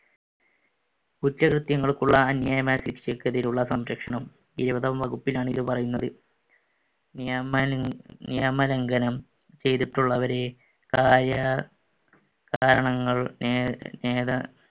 കുറ്റകൃത്യങ്ങൾക്കുള്ള അന്യായമായ ശിക്ഷക്കെതിരെയുള്ള സംരക്ഷണം. ഇരുപതാം വകുപ്പിലാണ് ഇത് പറയുന്നത്. നെയ~ നിയമലംഘനം ചെയ്‌തിട്ടുള്ളവരെ കാരണങ്ങള്‍ നെ~ നേടാ~